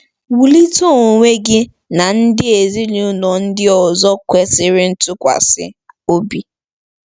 Wulite onwe gị na ndị ezinụlọ ndị ọzọ kwesịrị ntụkwasị obi.